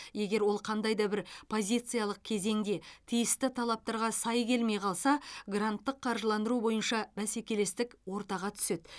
егер ол қандай да бір позициялық кезеңде тиісті талаптарға сай келмей қалса гранттық қаржыландыру бойынша бәсекелестік ортаға түседі